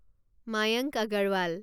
Mayank Agarwal